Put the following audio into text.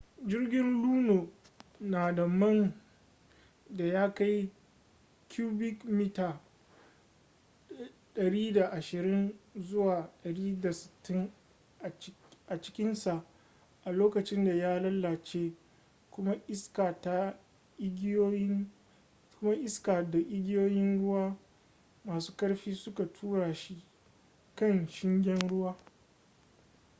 jirgin luno na da man da ya kai cubic mita 120-160 a cikinsa a lokacin da ya lalace kuma iska da igiyoyin ruwa masu ƙarfi suka tura shi kan shingen ruwa